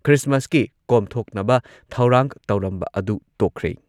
ꯈ꯭ꯔꯤꯁꯃꯁꯀꯤ ꯀꯣꯝꯊꯣꯛꯅꯕ ꯊꯧꯔꯥꯡ ꯇꯧꯔꯝꯕ ꯑꯗꯨ ꯇꯣꯛꯈ꯭ꯔꯦ꯫